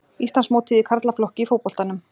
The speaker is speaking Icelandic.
Íslandsmótið í karlaflokki í fótboltanum